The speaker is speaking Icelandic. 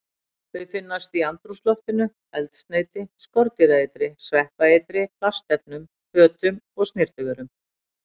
Þau finnast í andrúmsloftinu, eldsneyti, skordýraeitri, sveppaeitri, plastefnum, fötum og snyrtivörum.